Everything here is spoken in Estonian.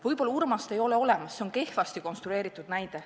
Võib-olla Urmast ei olegi olemas, see on kehvasti konstrueeritud näide.